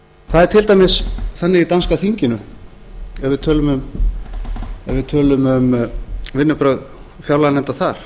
það er til dæmis þannig í danska þinginu ef við tölum um vinnubrögð fjárlaganefnda þar